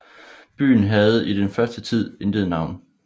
Byen havde i den første tid intet navn